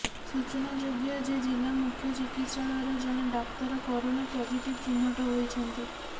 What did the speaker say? ସୂଚନାଯୋଗ୍ୟ ଯେ ଜିଲ୍ଲା ମୁଖ୍ୟ ଚିକିତ୍ସାଳୟର ଜଣେ ଡାକ୍ତର କରୋନା ପଜିଟିଭ ଚି଼ହ୍ନଟ ହୋଇଛନ୍ତି